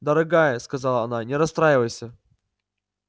дорогая сказала она не расстраивайся